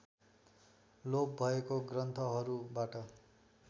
लोप भएको ग्रन्थहरूबाट